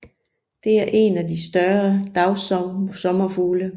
Det er en af de større dagsommerfugle